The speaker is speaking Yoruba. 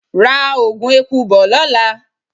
Ra Ògùn eku bo lóla!